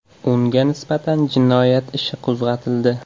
Unga nisbatan jinoyat ishi qo‘zg‘atildi.